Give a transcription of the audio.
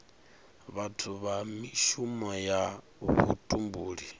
vhathu na mishumo ya vhutumbuli